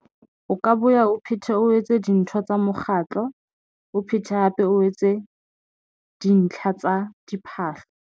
O ka boya o phethe o etse dintho tsa mokgatlo, o phete hape o etse dintlha tsa diphahlo.